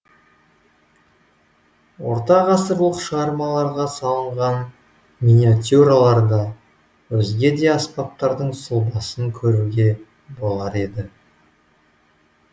ортағасырлық шығармаларға салынған миниатюраларда өзге де аспаптардың сұлбасын көруге болар еді